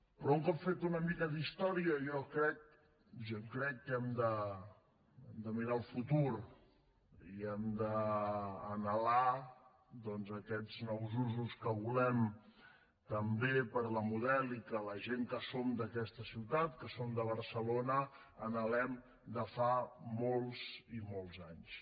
però un cop feta una mica d’història jo crec que hem de mirar al futur i hem d’anhelar doncs aquests nous usos que volem també per a la model i que la gent que som d’aquesta ciutat que som de barcelona anhelem de fa molts i molts anys